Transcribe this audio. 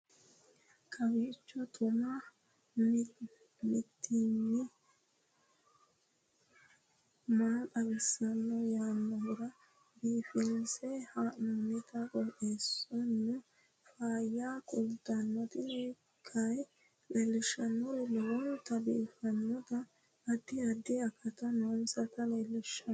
kowiicho xuma mtini maa xawissanno yaannohura biifinse haa'noonniti qooxeessano faayya kultanno tini kayi leellishshannori lowonta biiffinota addi addi akati nooseta lellishshanno